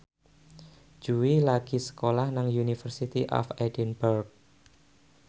Jui lagi sekolah nang University of Edinburgh